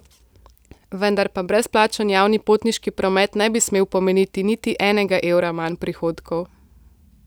Vendar pa brezplačen javni potniški promet ne bi smel pomeniti niti enega evra manj prihodkov.